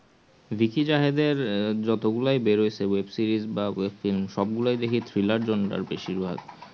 ভিকি জাহেদের যত গুলাই বেড়াইছে web-series বা web-film সব গুলোই দেখি thriller জন্মই বেশির ভাগ